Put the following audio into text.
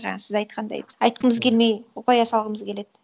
жаңа сіз айтқандай біз айтқымыз келмей қоя салғымыз келеді